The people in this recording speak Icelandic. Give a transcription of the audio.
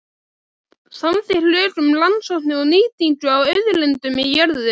Samþykkt lög um rannsóknir og nýtingu á auðlindum í jörðu.